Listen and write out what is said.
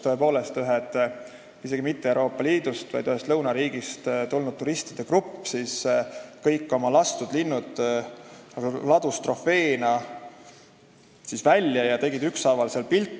Tõepoolest, üks isegi mitte Euroopa Liidust, vaid ühest lõunapoolsest riigist tulnud turistide grupp ladus kõik oma lastud linnud trofeena välja ja nad tegid ükshaaval seal pilte.